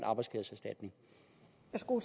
to